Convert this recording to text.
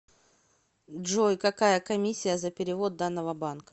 джой какая комиссия за перевод данного банка